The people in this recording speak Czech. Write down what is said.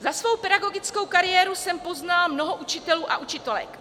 Za svou pedagogickou kariéru jsem poznala mnoho učitelů a učitelek.